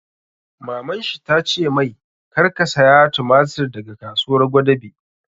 Maman shi ta ce mai 'Kar ka saya tumatir daga Kasuwar Gwadabe'!